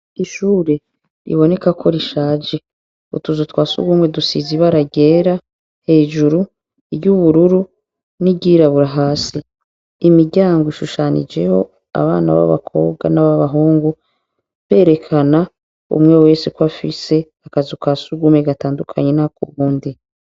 Ishure biboneka ko rishaje. Utuzu twa sugumwe dusize ibara ryera hejuru, iry'ubururu n'iryirabura hasi. Imiryango ishushanijeko abana b'abakobwa n'abana b'abahungu berekana umwe wese ko afise akazu ka sugumewe gatanadukanye n'akuwundi,